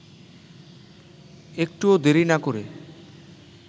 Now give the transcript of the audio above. একটুও দেরি না করে